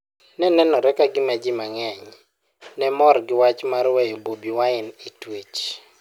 Ne nenore ka gima ji mang'eny ne mor gi wach mar weyo Bobi Wine e twech.